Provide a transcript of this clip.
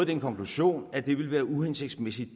den konklusion at det desværre ville være uhensigtsmæssigt